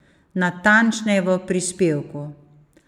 Natančneje v prisevku.